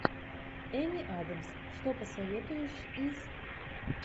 эми адамс что посоветуешь из